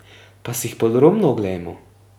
Pa si jih podrobno oglejmo.